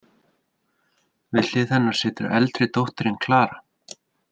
Við hlið hennar situr eldri dóttirin, Klara.